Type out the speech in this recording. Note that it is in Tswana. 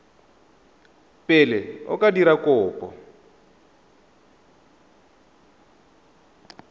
pele o ka dira kopo